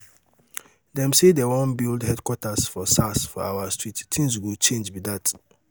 dem say dem wan build um headquarter for um sars for our street things go change be that